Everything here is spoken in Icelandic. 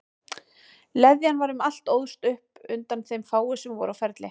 Leðjan var um allt og óðst upp undan þeim fáu sem voru á ferli.